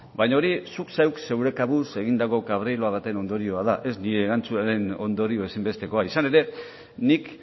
baina hori zuk zeuk zure kabuz egindako baten ondorioa da ez nire erantzunaren ondorio ezinbestekoa izan ere nik